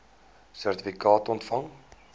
sertifikaat ontvang